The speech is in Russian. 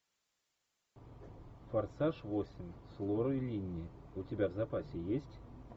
форсаж восемь с лорой линни у тебя в запасе есть